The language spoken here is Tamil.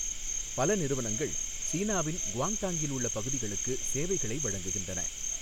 பல நிறுவனங்கள் சீனாவின் குவாங்டாங்கில் உள்ள பகுதிகளுக்கு சேவைகளை வழங்குகின்றன.